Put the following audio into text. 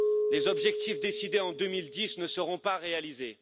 Les objectifs décidés en 2010 ne seront pas réalisés.